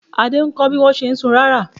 Adé ń kọ́ bí wọ́n ṣe ń sun rárà.